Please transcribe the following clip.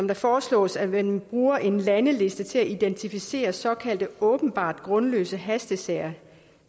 der foreslås at man bruger en landeliste til at identificere såkaldte åbenbart grundløse hastesager